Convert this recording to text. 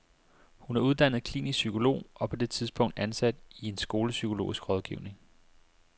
Hun er uddannet klinisk psykolog og på det tidspunkt ansat i en skolepsykologisk rådgivning.